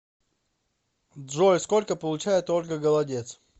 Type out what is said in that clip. джой сколько получает ольга голодец